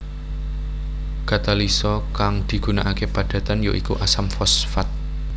Katalisa kang digunakaké padatan ya iku asam fosfat